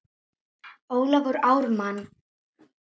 Ólafur Ármann.